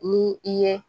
Ni i ye